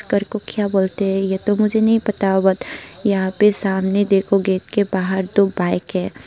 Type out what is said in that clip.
कर को क्या बोलते है ये तो मुझे नही पता यहां पे सामने देखो गेट के बाहर दो बाईक हैं।